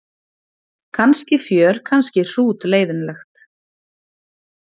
Kannski fjör kannski hrútleiðinlegt.